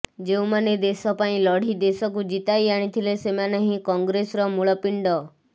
ଯେଉଁମାନେ ଦେଶ ପାଇଁ ଲଢ଼ି ଦେଶକୁ ଜିତାଇ ଆଣିଥିଲେ ସେମାନେ ହିଁ କଂଗ୍ରେସ ର ମୁଳପିଣ୍ଡ